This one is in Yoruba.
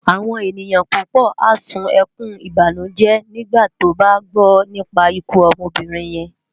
Awòn éniyan púpò á sún èkún ibánújé nigbá tòbá gbò nipá ikú òbirin yèn